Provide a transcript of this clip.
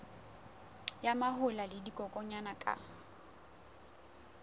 ya mahola le dikokwanyana ka